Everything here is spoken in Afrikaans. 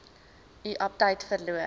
u aptyt verloor